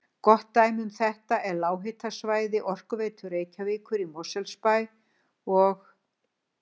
Gott dæmi um þetta er lághitasvæði Orkuveitu Reykjavíkur í Mosfellsbæ og